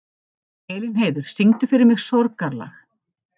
Elínheiður, syngdu fyrir mig „Sorgarlag“.